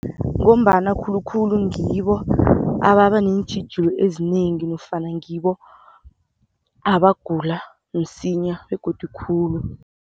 Ngombana khulukhulu ngibo ababa neentjhijilo ezinengi nofana ngibo abagula msinya begodu khulu.